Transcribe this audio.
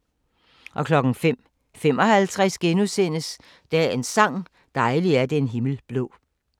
05:55: Dagens sang: Dejlig er den himmel blå *